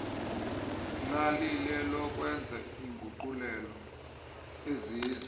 lalilelokwenza iinguqulelo eziza